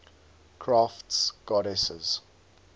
crafts goddesses